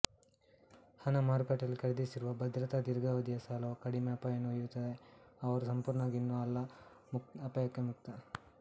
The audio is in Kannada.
ಹಣ ಮಾರುಕಟ್ಟೆಯಲ್ಲಿ ಖರೀದಿಸಿರುವ ಭದ್ರತಾ ದೀರ್ಘಾವಧಿಯ ಸಾಲವು ಕಡಿಮೆ ಅಪಾಯವನ್ನು ಒಯ್ಯುತ್ತವೆ ಅವರು ಸಂಪೂರ್ಣವಾಗಿ ಇನ್ನೂ ಅಲ್ಲ ಅಪಾಯಕ್ಕೆ ಮುಕ್ತ